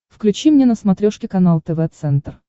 включи мне на смотрешке канал тв центр